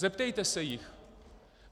Zeptejte se jich.